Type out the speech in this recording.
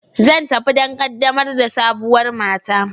Zan tafi don ƙaddamar da sabuwar mata.